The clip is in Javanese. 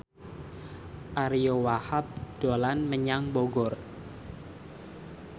Ariyo Wahab dolan menyang Bogor